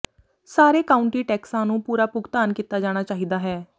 ਸਾਰੇ ਕਾਉਂਟੀ ਟੈਕਸਾਂ ਨੂੰ ਪੂਰਾ ਭੁਗਤਾਨ ਕੀਤਾ ਜਾਣਾ ਚਾਹੀਦਾ ਹੈ